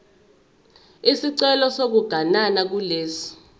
isicelo sokuganana kulesi